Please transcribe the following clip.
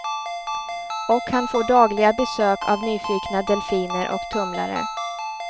Och han får dagliga besök av nyfikna delfiner och tumlare.